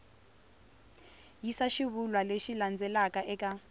yisa xivulwa lexi landzelaka eka